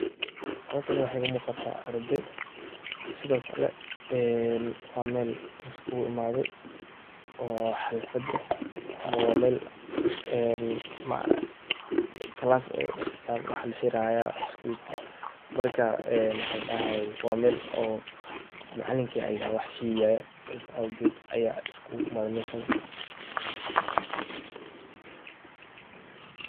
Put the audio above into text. Halakan waxa iga muqata arday sdhkle waa mel laiskuguimadhay o halfad eh, wa mel class eh oo waxa laheri haya scholkii, marka waxa ladahayay wa mel oo macalinki aya wax shegaya sas awged aya laiskuimadhaymeshan.